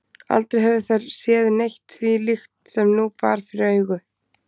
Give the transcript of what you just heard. Aldrei höfðu þær séð neitt því líkt sem nú bar fyrir augu.